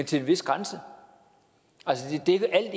til en vis grænse altså det er